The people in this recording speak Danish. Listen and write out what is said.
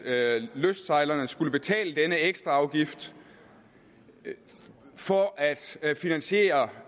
at lystsejlerne skulle betale denne ekstra afgift for at finansiere